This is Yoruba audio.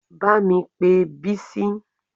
Bá mi pé Bisi